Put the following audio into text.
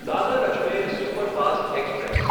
Dadar Ajmer superfast express